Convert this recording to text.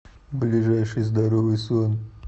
ближайший здоровый сон